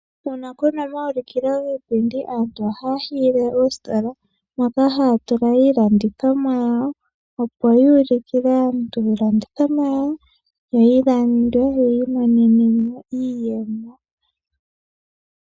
Uuna puna omaulikilo giipindi aantu ohaya hiyile oositola moka haya tula iilandithomwa yawo opo yuulukile aantu iilandithomwa yawo yo yilandwe yi imonene mo iiyemo.